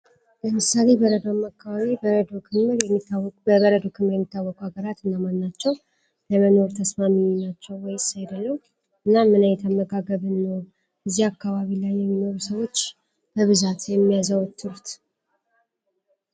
ለምሳሌ በረዶማ አካባቢ በረዶ ክምል የሚታወቁ በበረዶ ክምል የሚታወቁ ሀገራት እናማናቸው? ለመኖሩ ተስማሚኙናቸው ወይሳይደለው እናም ምናይ የተመጋገብን ኖ እዚህ አካባቢ ላይ የሚኖሩ ሰዎች በብዛት የሚያዘወትሩት